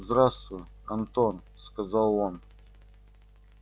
здравствуй антон сказал он